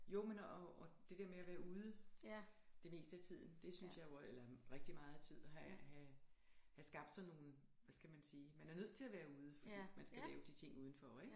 Jo men og og det der med at være ude det meste af tiden det synes jeg jo er eller rigtig meget af tiden have have have skabt sådan nogle hvad skal man sige man er nødt til at være ude fordi man skal lave de ting udenfor ikke